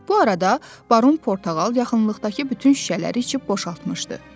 Bu arada Baron Portağal yaxınlıqdakı bütün şüşələri içib boşaltmışdı.